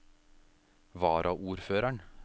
varaordføreren